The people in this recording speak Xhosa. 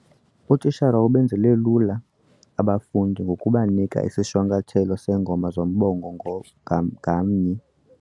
Utitshra ubenzele lula abafundi ngokubanika isishwankathelo seengongoma zombongo ngamnye.